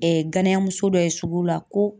ganya muso dɔ ye sugu la ko.